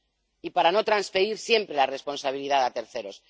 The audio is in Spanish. Y para no transferir siempre la responsabilidad a terceros.